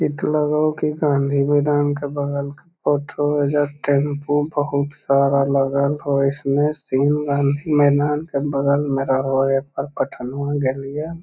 इ ते लगवो की गाँधी मैदान के बगल के फोटो हो ओइजा टैम्पू बहुत सारा लगल हो इसमें सिंह गाँधी मैदान के बगल में रहो ए पर गइललिया।